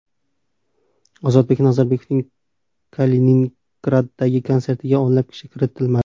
Ozodbek Nazarbekovning Kaliningraddagi konsertiga o‘nlab kishi kiritilmadi.